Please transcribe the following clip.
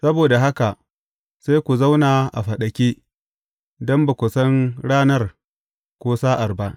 Saboda haka sai ku zauna a faɗake, don ba ku san ranar ko sa’ar ba.